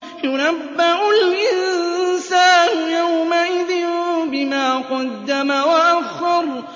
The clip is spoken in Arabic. يُنَبَّأُ الْإِنسَانُ يَوْمَئِذٍ بِمَا قَدَّمَ وَأَخَّرَ